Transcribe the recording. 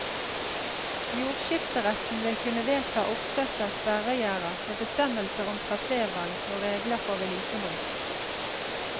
Jordskifteretten vil kunne vedta oppsett av sperregjerder med bestemmelser om trasevalg og regler for vedlikehold.